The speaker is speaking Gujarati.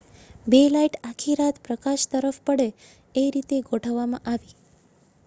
બે લાઈટ આખી રાત આકાશ તરફ પડે એ રીતે ગોઠવવામાં આવી છે